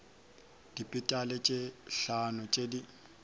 dipetale tše hlano tše di